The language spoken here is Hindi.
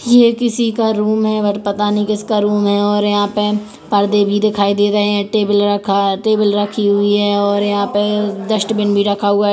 ये किसी का रूम है और पता नहीं किसका रूम है और यहाँ पे पर्दे भी दिखाई दे रहे है टेबल रखा टेबल रखी हुई है और यहाँ पे डस्ट्बिन भी रखा हुआ है।